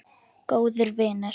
Góður vinur.